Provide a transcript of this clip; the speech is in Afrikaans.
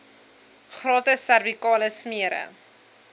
gratis servikale smere